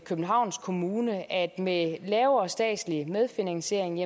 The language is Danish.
københavns kommune at lavere statslig medfinansiering